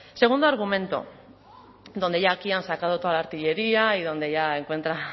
segundo argumento donde ya aquí han sacado toda la artillería y donde ya encuentra